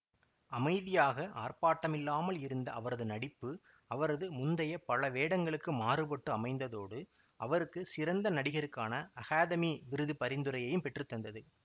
அமைதியாக ஆர்ப்பாட்டமில்லாமல் இருந்த அவரது நடிப்பு அவரது முந்தைய பல வேடங்களுக்கு மாறுபட்டு அமைந்ததோடு அவருக்கு சிறந்த நடிகருக்கான அகாதமி விருது பரிந்துரையையும் பெற்று தந்தது